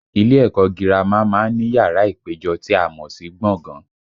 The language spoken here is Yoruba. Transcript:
Ilé ẹ̀kọ́ gírámà má ń ní yàrá ìpéjọ tí a mọ̀ sí gbọ̀ngàn